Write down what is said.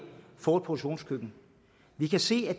produktionskøkken vi kan se af